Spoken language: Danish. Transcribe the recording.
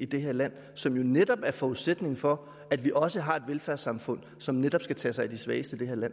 i det her land som jo netop er forudsætningen for at vi også har et velfærdssamfund som netop skal tage sig af de svageste i det her land